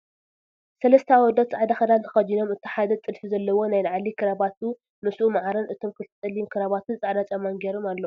ሰለስተ ኣወዳት ፃዕዳ ክዳን ተከዲኖም እቲ ሓደ ጥልፊ ዘለዎ ናይላዕሊ ክራባትኡ ምስኡ ማዕረን እቶም ክልተ ፀሊም ክራባትን ፃዕዳ ጫማን ጌሮም ኣለዉ።